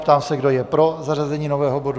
Ptám se, kdo je pro zařazení nového bodu.